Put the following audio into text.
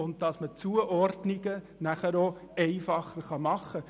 Zudem lassen sich die Zuordnungen einfacher vornehmen.